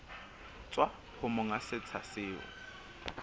tswa ho monga setsha seo